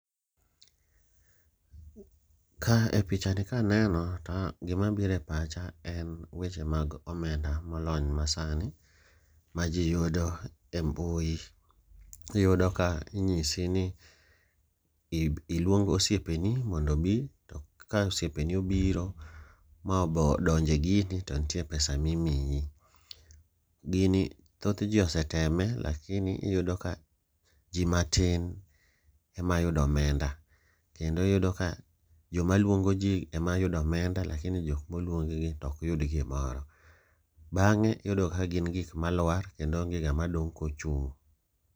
Ka e picha ni kaneno to gima bire pacha en weche mag omenda molony ma sani ji yudo e mbui. Iyudo ka inyisi ni iluong osiepeni mondo obi, to ka osiepeni obiro ma bo odonje gini to nitie pesa mimiyi. Gini thoth ji oseteme lakini iyudo ka ji matin ema yudo omenda. Kendo iyudo ka joma luongo ji ema yudo omenda lakini jok moluong gi to ok yud gimoro. Bang'e iyudo ka gin gik malwar kendo onge ng'ama dong' kochung'.